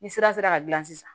Ni sira sera ka gilan